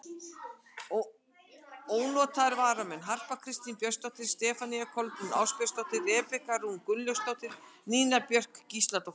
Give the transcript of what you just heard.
Ónotaðir varamenn: Harpa Kristín Björnsdóttir, Stefanía Kolbrún Ásbjörnsdóttir, Rebekka Rún Gunnlaugsdóttir, Nína Björk Gísladóttir.